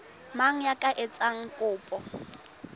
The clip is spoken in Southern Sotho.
mang ya ka etsang kopo